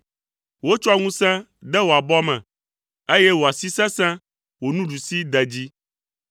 Wotsɔ ŋusẽ de wò abɔ me, eye wò asi sesẽ, wò nuɖusi de dzi.